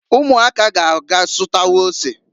Umuaka ya ga asutawa ose.